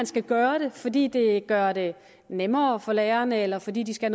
skal gøre fordi det gør det nemmere for lærerne eller fordi de skal